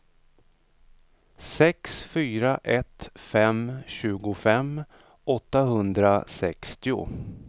sex fyra ett fem tjugofem åttahundrasextio